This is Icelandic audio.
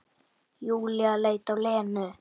Júlía leit á Lenu.